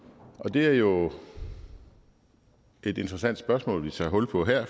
det er jo et interessant spørgsmål vi tager hul på her